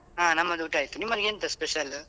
ಹ ನಮ್ಮದು ಊಟ ಆಯ್ತು ನಿಮ್ಮಲ್ಲಿ ಎಂತ special ?